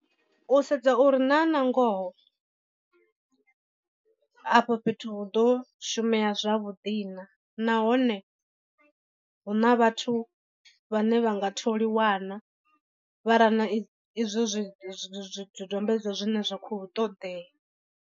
U sedza uri na nangoho afho fhethu hu ḓo shumea zwavhuḓi na nahone hu na vhathu vhane vha nga tholiwa na vha rana i izwo zwi zwi zwidodombedzwa zwine zwa khou ṱoḓea.